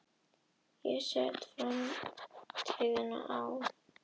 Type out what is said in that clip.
Ég set framtíðina á.